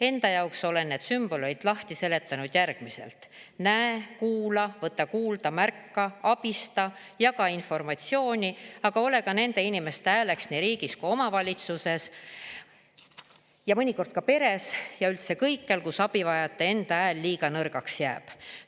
Enda jaoks olen need sümbolid lahti seletanud järgmiselt: näe, kuula, võta kuulda, märka, abista, jaga informatsiooni, aga ole ka nende inimeste hääleks nii riigis kui omavalitsuses, mõnikord ka peres ja üldse kõikjal, kus abivajajate enda hääl liiga nõrgaks jääb.